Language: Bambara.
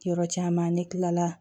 Yɔrɔ caman ne kilala